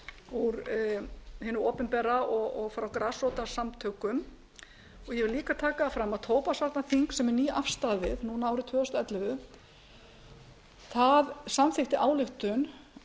úr hinu opinbera og frá grasrótarsamtökum ég vil líka taka það fram að tóbaksvarnaþing sem er nýafstaðið núna árið tvö þúsund og ellefu samþykkti ályktun